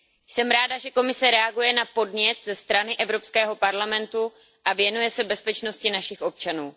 Jsem ráda, že Komise reaguje na podnět ze strany Evropského parlamentu a věnuje se bezpečnosti našich občanů.